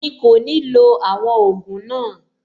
Mi kò ní lo àwọn ògùn náà.